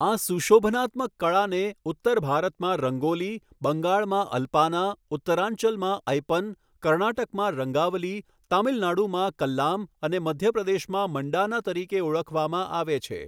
આ સુશોભનાત્મક કળાને ઉત્તર ભારતમાં રંગોલી, બંગાળમાં અલ્પાના, ઉતરાંચલમાં ઐપન, કર્ણાટકમાં રંગાવલી, તમિલનાડુમાં કલ્લામ અને મધ્યપ્રદેશમાં મંડાના તરીકે ઓળખવામાં આવે છે.